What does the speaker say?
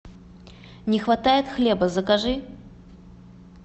не хватает хлеба закажи